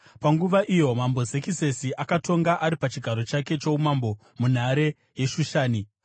Panguva iyo mambo Zekisesi akatonga ari pachigaro chake choumambo munhare yeShushani